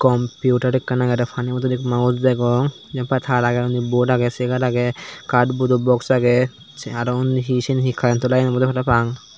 computer ekkan agede pani bodol mouse degong jiyenpai taar agey unni bod agey chegar agey katbodo boks agey se aro unni hi siyen hi karento layen obowde parapang.